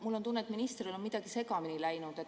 Mul on tunne, et ministril on midagi segamini läinud.